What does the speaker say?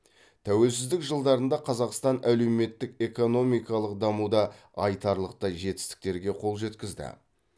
тәуелсіздік жылдарында қазақстан әлеуметтік экономикалық дамуда айтарлықтай жетістіктерге қол жеткізді